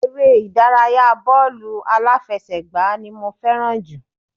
Eré ìdárayá bọ́ọ̀lù aláfẹsẹ́gbá ni mo fẹ́ràn jù